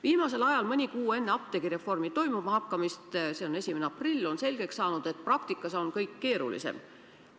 Viimasel ajal, mõni kuu enne apteegireformi toimuma hakkamist 1. aprillil on selgeks saanud, et praktikas on kõik keerulisem.